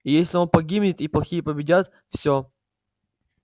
и если он погибнет и плохие победят всё